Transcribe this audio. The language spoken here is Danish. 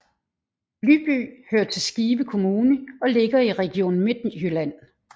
Lyby hører til Skive Kommune og ligger i Region Midtjylland